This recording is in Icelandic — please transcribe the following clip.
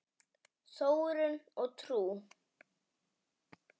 Þróun og trú